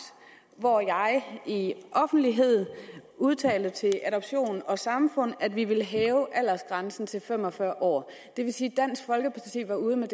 hvor jeg offentligt udtalte til adoption og samfund at vi ville hæve aldersgrænsen til fem og fyrre år det vil sige at dansk folkeparti var ude med